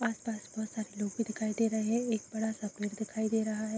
आस-पास बहुत सारे लोग भी दिखाई दे रहे है एक बड़ा सा पेड़ दिखाई दे रहा है।